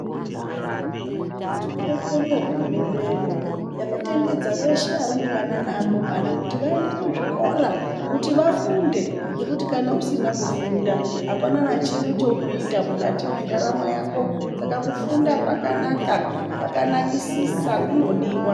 Tode kubonga hurumende yedu yakatendedza ese arumbwana nevakomana kuti vaende kuzvikora kuti vafunde ngekuti kana usina kufunda hapana kana chimwe chaunoita mukati mendaramo yako saka kufunda kwakanaka, kwakanakisisa kunodiwa.